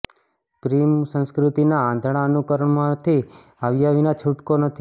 પિૃમ સંસ્કૃતિના આંધળા અનુકરણમાંથી બહાર આવ્યા વિના છૂટકો નથી